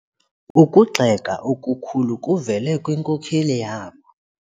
Ukugxeka okukhulu kuvele kwinkokeli yabo.